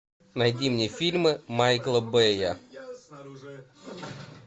найди мне фильмы майкла бэя